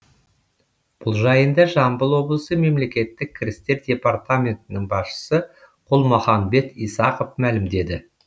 бұл жайында жамбыл облысы мемлекеттік кірістер департаментінің басшысы құлмаханбет исақов мәлімдеді